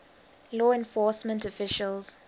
law enforcement officials